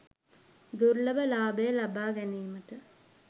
දුර්ලභ ලාභය ලබාගැනීමට